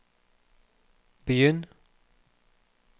begynn